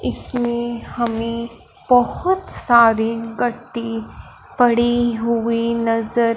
इसमें हमें बहोत सारी गट्टी पड़ी हुई नज़र --